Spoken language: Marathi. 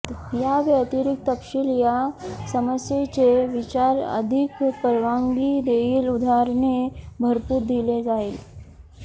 याव्यतिरिक्त तपशील या समस्येचे विचार अधिक परवानगी देईल उदाहरणे भरपूर दिले जाईल